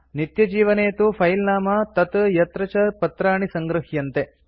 नित्यजीवने तु फिले नाम तत् यत्र च पत्राणि सङ्गृह्यन्ते